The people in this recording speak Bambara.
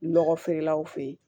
Lɔgɔ feerelaw fɛ yen